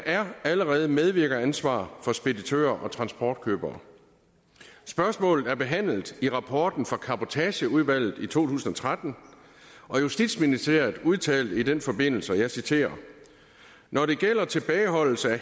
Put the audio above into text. er allerede medvirkeransvar for speditører og transportkøbere spørgsmålet er behandlet i rapporten fra cabotageudvalget i to tusind og tretten og justitsministeriet udtalte i den forbindelse og jeg citerer når det gælder tilbageholdelse af